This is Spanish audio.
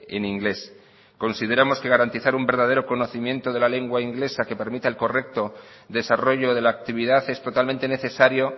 en inglés consideramos que garantizar un verdadero conocimiento de la lengua inglesa que permita el correcto desarrollo de la actividad es totalmente necesario